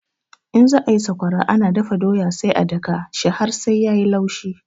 In za ayi sakwara ana dafa doya sai a daka shi har sai yayi laushi